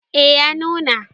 eh ya nuna